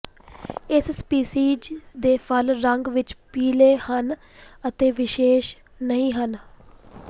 ਇਸ ਸਪੀਸੀਜ਼ ਦੇ ਫੁੱਲ ਰੰਗ ਵਿਚ ਪੀਲੇ ਹਨ ਅਤੇ ਵਿਸ਼ੇਸ਼ ਨਹੀਂ ਹਨ